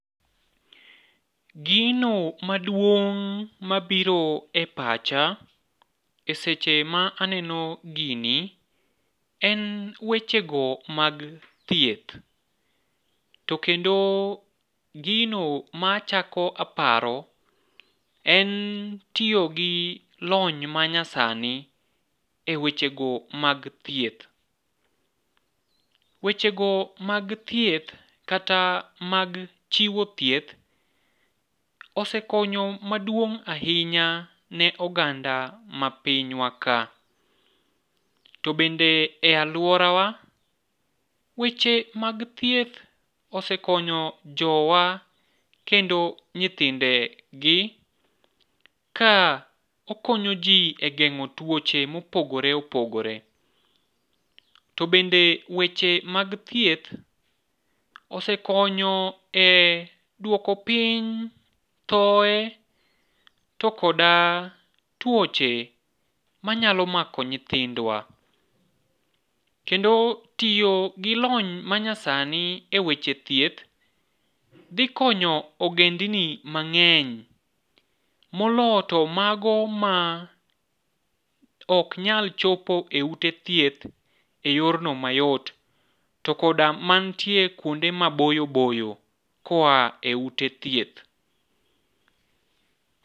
Gino maduong' mabiro e pacha e seche ma aneno gini en wechego mag thieth, to kendo gino machako aparo en tiyo gi lony manyasani wechego mag thieth, wechego mag thieth kata mag chiwo thieth osekonyo maduong' ahinya ne oganda ma pinywa ka. To bende e alworawa, weche mag thieth osekonyo jowa kendo nyithindegika okonyo ji e geng'o tuoche mopogore opogore, to bende weche mag thieth osekonyo e dwoko piny thoye, to kod tuoche manyalo mako nyithindwa. Kendo tiyo gi lony manyasani e weche thieth dhi konyo ogendni mang'eny moloyo to mago ma ok nyal chopo e ute thieth e yorno mayot, to koda mantie kwonde maboyo boyo koa e ute thieth.